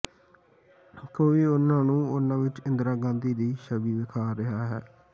ਕੋਈ ਉਨ੍ਹਾਂ ਨੂੰ ਉਨ੍ਹਾਂ ਵਿਚ ਇੰਦਰਾ ਗਾਂਧੀ ਦੀ ਛਵੀ ਵੇਖ ਰਿਹਾ ਹੈ